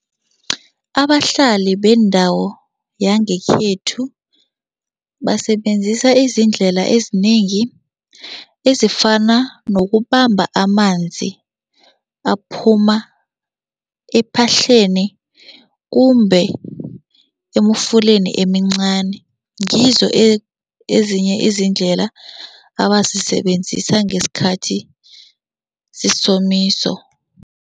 Abahlali bendawo yangekhethu basebenzisa izindlela ezinengi ezifana nokubamba amanzi aphuma ephahleni kumbe emfuleni emincani, ngizo ezinye izindlela abazisebenzisa ngesikhathi sesomiso.